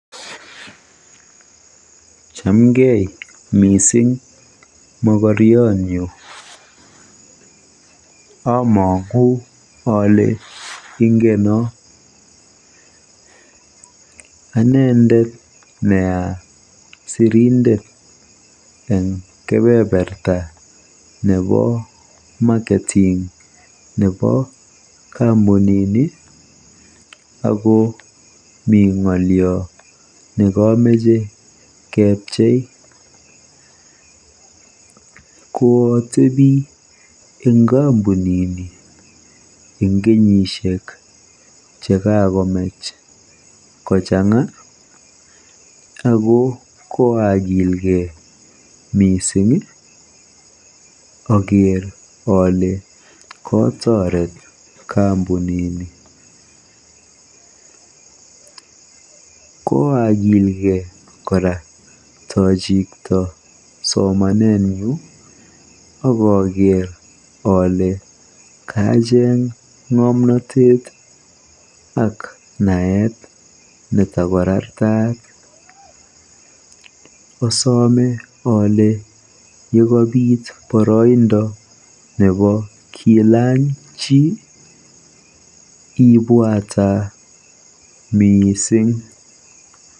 Chamgei mising mokoriotnyu. Amang'u ale ingono. Ane nea sirindet nebo kebeberta nebo [cs[marketing ako mi ng'olio nekamache kebchei. Kootebi eng kampunini eng kenyisiek chekokomach kochang'a ako koakilkei mising oker ole kotoret kampunini. Koakilkei kora ojikto somanetnyu akaker kora kole kacheng ng'omnatet ak naet netakorartaat. Asome ole yekabiit boroindo nebo kilany chii ibwata mising.